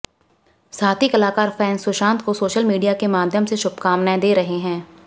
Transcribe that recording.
साथी कलाकार और फैंस सुशांत को सोशल मीडिया के माध्यम से शुभकामनाएं दे रहे हैं